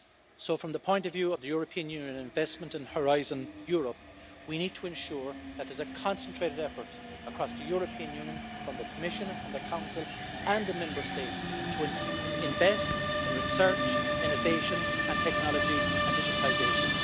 So, from the point of view of European Union investment in Horizon Europe, we need to ensure that there's a concentrated effort across the European Union from the Commission and the Council and the Member States to invest in research, innovation, technology and digitisation.